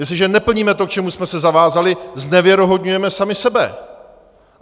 Jestliže neplníme to, k čemu jsme se zavázali, znevěrohodňujeme sami sebe.